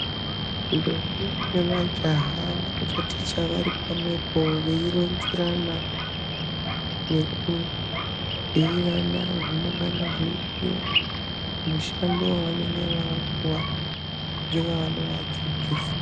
Ndombi nemajaha vanotaticha vari pamwepo veironzerana nekubhuirana zvinongana zveidiwa mumushando wavanenge vapuwa ngevanovadzidzisa.